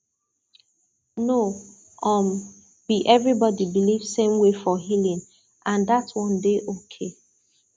no um be everybody believe same way for healing and dat one dey okay